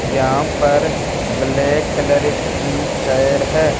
यहां पर black colour की चेयर है।